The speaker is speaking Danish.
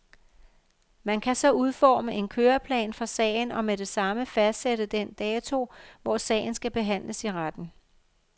Man kan så udforme en køreplan for sagen og med det samme fastsætte den dato, hvor sagen skal behandles i retten.